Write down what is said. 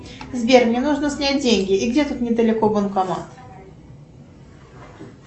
сбер мне нужно снять деньги и где тут недалеко банкомат